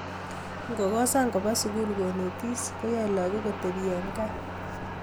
ngokosan kopa sukul konetis koyaei lakok kotepi eng kaa